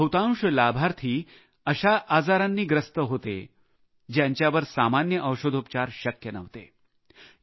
यातील बहुतांश लाभार्थी अशा आजारांनी ग्रस्त होते ज्यांच्यावर सामान्य औषधोपचार शक्य नव्हते